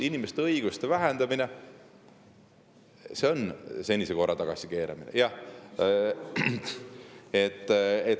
Inimeste õiguste vähendamine on senise korra tagasikeeramine, jah.